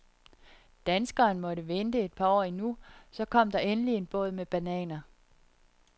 Danskeren måtte vente et par år endnu, så kom der endelig en båd med bananer.